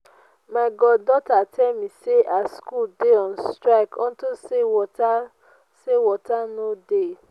my god daughter tell me say her school dey on strike unto say water say water no dey